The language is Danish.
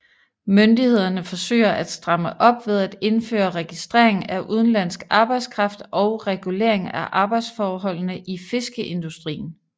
Myndighederne forsøger at stramme op ved at indføre registrering af udenlandsk arbejdskraft og regulering af arbejdsforholdene i fiskeindustrien